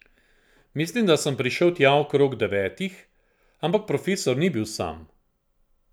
Mislim, da sem prišel tja okrog devetih, ampak profesor ni bil sam.